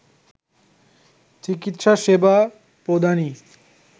চিকিৎসা সেবা প্রদানই